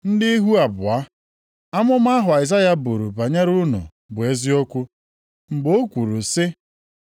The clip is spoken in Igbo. Ndị ihu abụọ! Amụma ahụ Aịzaya buru banyere unu bụ eziokwu. Mgbe o kwuru sị,